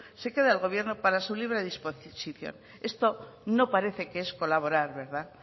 se queda el gobierno para su libre disposición esto no parece que es colaborar verdad